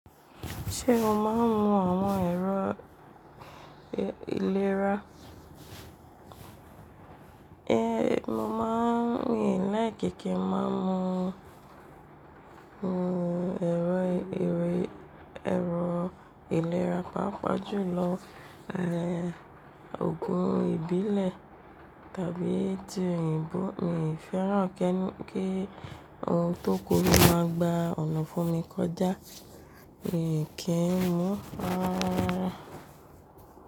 Ṣé o máa ń mu àwọn ẹ̀rọ ìlera? Ehn, mo máa ń mi láìki ki máa ń mu, mmh, ẹ̀rọ ìlera, pàápàá jùlọ, ehn, òògùn ìbílẹ̀ tàbí ti òyìnbó. Mi ò fẹ́ràn kí ohun to koro máa gba ọ̀nà fún mi kọjá, mi kì í mú ara rárá.